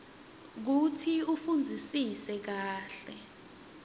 kutsi ufundzisise kahle